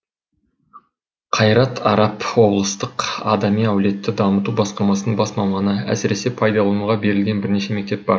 қайрат арап облыстық адами әлеуетті дамыту басқармасының бас маманы әсіресе пайдалануға берілген бірнеше мектеп бар